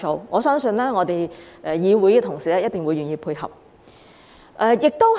我相信我們議會同事一定會願意配合。